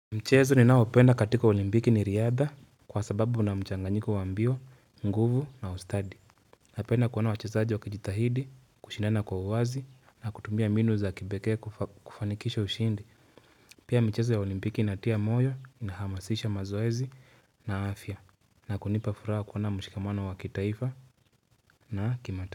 Mchezo ninaopenda katika olimpiki ni riadha, kwa sababu una mchanganyiko wa mbio, nguvu na ustadi. Napenda kuona wachezaji wakijitahidi, kushindana kwa uwazi na kutumia mbinu za kipekee kufanikisha ushindi. Pia michezo ya olimpiki inatia moyo, inahamasisha mazoezi na afya. Na kunipa furaha kuona mshikamano wa kitaifa na kimataifa.